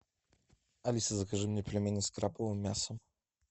алиса закажи мне пельмени с крабовым мясом